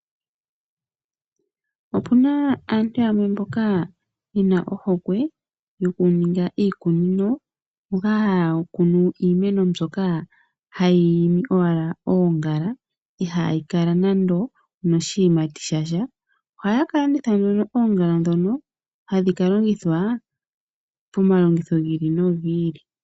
Opu na aantu yamwe mboka ye na ohokwe yokuninga iikunino moka haya kunu iimeno mbyoka hayi imi owala oongala ihayi kala nando onoshiyimati shasha. Ohaya ka landitha oongala ndhono hadhi ka longithwa pomalongitho ga yooloka.